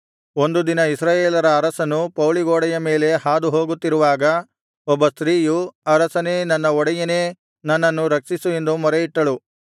ಒಂದು ದಿನ ಇಸ್ರಾಯೇಲರ ಅರಸನು ಪೌಳಿಗೋಡೆಯ ಮೇಲೆ ಹಾದುಹೋಗುತ್ತಿರುವಾಗ ಒಬ್ಬ ಸ್ತ್ರೀಯು ಅರಸನೇ ನನ್ನ ಒಡೆಯನೇ ನನ್ನನ್ನು ರಕ್ಷಿಸು ಎಂದು ಮೊರೆಯಿಟ್ಟಳು